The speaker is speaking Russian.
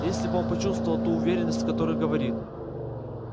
если бы он почувствовал ту уверенность с которой говорит